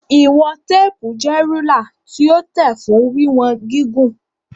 Ìwọ̀n téèpù jẹ́ rúlà tí ó tẹ̀ fún wíwọn gígùn.